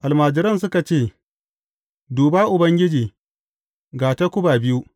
Almajiran suka ce, Duba Ubangiji, ga takuba biyu.